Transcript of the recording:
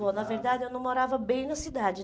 Bom, na verdade, eu não morava bem na cidade